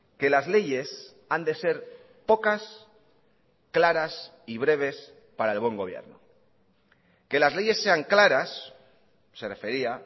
que las leyes han de ser pocas claras y breves para el buen gobierno que las leyes sean claras se refería